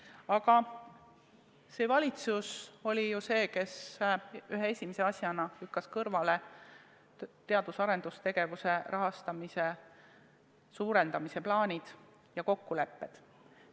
Aga praegune valitsus lükkas ühe esimese asjana kõrvale teadus- ja arendustegevuse suurema rahastamise plaanid ja kokkulepped.